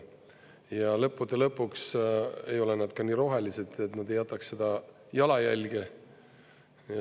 Ja lõppude lõpuks ei ole nad ka nii rohelised, et nad ei jätaks seda jalajälge.